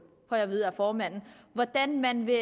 får jeg at vide af formanden hvordan man vil